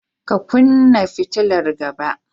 Ka kunnan fitilar gaba.